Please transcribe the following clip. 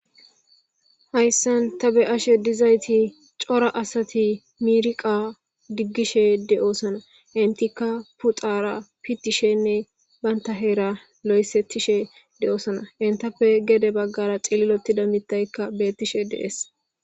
Hayssi ta be'shshe diizaytti coora asati miiriqa diggishe de'ossona eentika pooxara pittishenne bantta heera lossathishe de'ossona enttappe geede baggara ciillilotida miththayka bettishe de'ess.